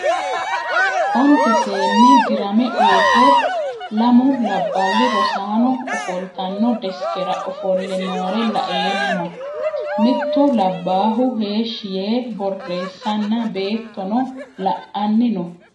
Onitte seeni diiramme uure lammu labbali rosaano ofolitanno desikkera ofole noore la'emma mittu labbahu heeshi Yee borresanna beettono la'anni noo